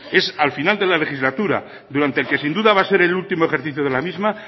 es al final de la legislatura durante el que sin duda va a ser último ejercicio de la misma